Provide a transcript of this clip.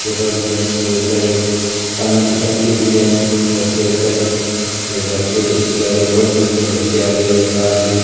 के पौधे हैं इसके ऊपर एक पानी की टंकी भी है घर के ऊपर ये घर के इसके आगे रोड भी हैं घर के आगे ये कार खड़ी है।